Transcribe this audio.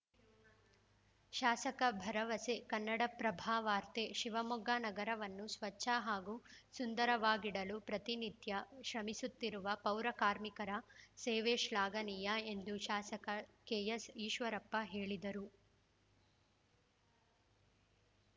ಶಾಸಕ ಭರವಸೆ ಕನ್ನಡಪ್ರಭವಾರ್ತೆ ಶಿವಮೊಗ್ಗ ನಗರವನ್ನು ಸ್ವಚ್ಛ ಹಾಗೂ ಸುಂದರವಾಗಿಡಲು ಪ್ರತಿನಿತ್ಯ ಶ್ರಮಿಸುತ್ತಿರುವ ಪೌರ ಕಾರ್ಮಿಕರ ಸೇವೆ ಶ್ಲಾಘನೀಯ ಎಂದು ಶಾಸಕ ಕೆಎಸ್‌ ಈಶ್ವರಪ್ಪ ಹೇಳಿದರು